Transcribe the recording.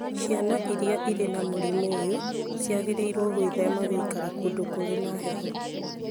Ciana iria irĩ na mũrimũ ũyũ ciagĩrĩirũo gwĩthema gũikara kũndũ kũrĩ na heho